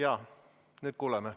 Jaa, nüüd kuuleme.